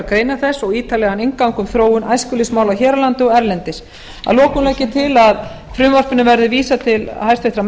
greinar þess og ítarlegan inngang um þróun æskulýðsmála hér á landi og erlendis að lokum legg ég til að frumvarpinu verði vísað til háttvirtrar